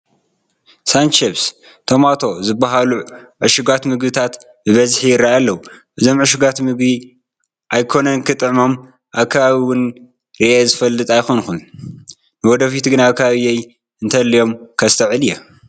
ሳንቺፕስ ቶማቶ ዝበሃሉ ዕሹጋት ምግብታት ብበዝሒ ይርአዩ ኣለዉ፡፡ እዞም ዕሹጋት ምግቢ ኣይኮነን ክጥዕሞም ኣብ ከባቢየ እውን ርኤዮም ዝፈልጥ ኣይኮኑን፡፡ ንወደፊቱ ግን ኣብ ከባቢየ እንተሃልዮም ከስተውዕል እየ፡፡